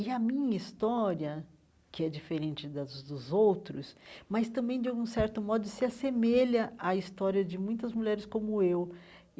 E a minha história, que é diferente das dos dos outros, mas também, de algum certo modo, se assemelha à história de muitas mulheres como eu.